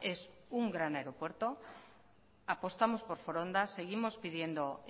es un gran aeropuerto apostamos por foronda seguimos pidiendo